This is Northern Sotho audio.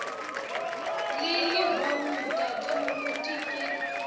le lehono tate moruti ke